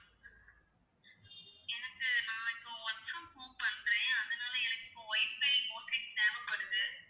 எனக்கு நான் இப்போ work from home பண்றேன் அதனால எனக்கு இப்போ WIFI broadband தேவைப்படுது